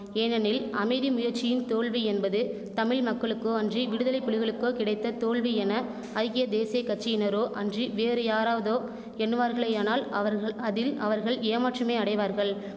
ஏனெனில் அமைதி முயற்சியின் தோல்வி என்பது தமிழ்மக்களுக்கோ அன்றி விடுதலை புலிகளுக்கோ கிடைத்த தோல்வி என ஐக்கிய தேசிய கட்சியினரோ அன்றி வேறு யாராவதோ எண்ணுவார்களேயானால் அவர்கள் அதில் அவர்கள் ஏமாற்றமே அடைவார்கள்